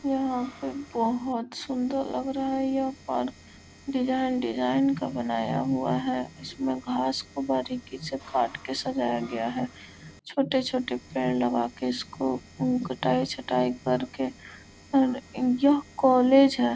यहाँ पे बहुत सुंदर लग रहा है यह पार्क डिजाइन डिजाइन का बनाया हुआ है इसमें घास को बारिकी से काट के सजाया गया है छोटे-छोटे पेड़ लगा के इसको उ कटाई-छटाईं कर के और यह कॉलेज है।